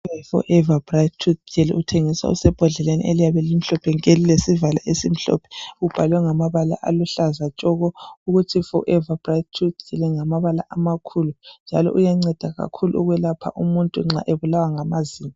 Umuthi we Forever Bright tooth uthengiswa usembodleleni eliyabe limhlophe nke ulesivalo esimhlophe, ubhalwe ngamabala aluhlaza tshoko ukuthi FOREVER BRIGHT TOOTH ngamabala amakhulu njalo uyanceda kakhulu umuntu nxa ebulawa ngamazinyo.